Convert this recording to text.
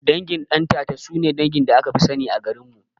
Dangin Ɗantata sune dangin da akafi sani a garinmu